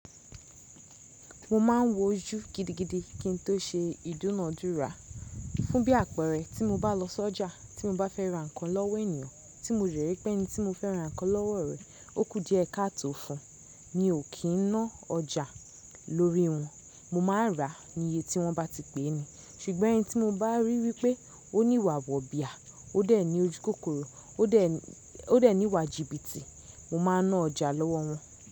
Mo ma ń wo ojú gidigidi kí n tó ṣe ìdúnadúrà. Fún bí àpẹẹrẹ, tí mo bá lọ sí ọjà, tí mo bá fẹ́ ra nǹkan lọ́wọ́ ènìyàn tí mo dẹ rí pé ẹni tí mo fẹ́ ra nǹkan lọ́wọ́ rẹ̀, ó kù díẹ̀ káto fún un, mi ò kí n ná ọjà lórí wọn. Mo máa rà á ní iye tí wọ́n bá ti pè ni. Ṣùgbọ́n ẹni tí mo bá rí wí pé ó ní ìwà wọ̀bìà, ó dẹ̀ ní ojú kòkòrò, ó dẹ̀ ní ìwà jìbìtì, mo máa ná ọjà lọ́wọ́ wọn.